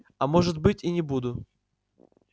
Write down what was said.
а может быть и не буду